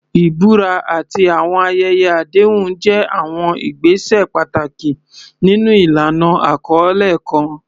Ìbúra àti àwọn ayẹyẹ àdéhùn jẹ́ àwọn ìgbésẹ̀ pàtàkì nínú ìlànà àkọlé kan.